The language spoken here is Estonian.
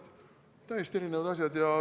Need on täiesti erinevad asjad.